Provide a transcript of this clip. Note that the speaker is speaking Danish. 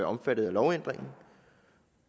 omfattet af lovændringen